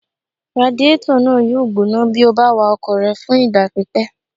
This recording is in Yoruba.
Radiétọ̀ náà yóò gbóná bí o bá wa ọkọ̀ rẹ fún ìgbà pípẹ́